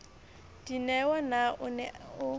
dineo na o ne o